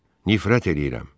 Nifrət eləyirəm.